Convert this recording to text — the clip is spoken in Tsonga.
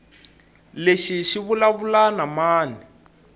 lexi xi vulavula na mani